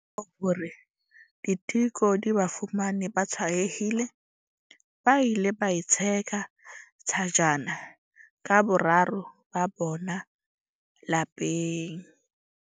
Kamora hore diteko di ba fumane ba tshwaetsehile, ba ile ba itsheka thajana ka boraro ba bona lapeng.